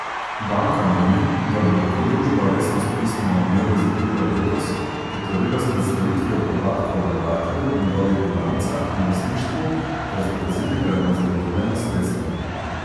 Banka meni, da bi lahko družba resnost pisma o nameri iz aprila letos potrdila s predstavitvijo podatkov o vlagatelju, njegovih bilancah in lastništvu ter z dokazili, da ima zagotovljena sredstva.